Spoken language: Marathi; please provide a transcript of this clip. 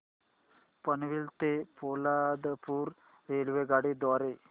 पनवेल ते पोलादपूर रेल्वेगाडी द्वारे